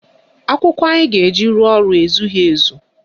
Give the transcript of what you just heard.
Akwụkwọ anyị ga-eji rụọ ọrụ ezughị ezu